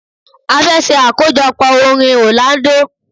A fẹ́ ṣe àkójọpọ̀ orin Orlando.